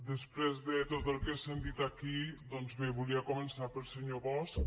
després de tot el que he sentit aquí doncs bé volia començar pel senyor bosch